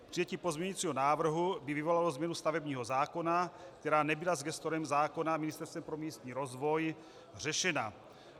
Přijetí pozměňujícího návrhu by vyvolalo změnu stavebního zákona, která nebyla s gestorem zákona, Ministerstvem pro místní rozvoj, řešena.